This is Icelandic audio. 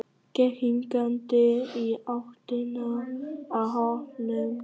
Gekk hikandi í áttina að hópnum.